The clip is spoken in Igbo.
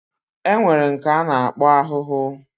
Enwere nke ana akpo ahụhụ